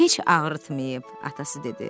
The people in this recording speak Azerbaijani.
Heç ağrıtmıyıb, atası dedi.